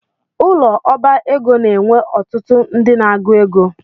Ụlọ ọbá ego n'enwe ọtụtụ ndị n'agụ égo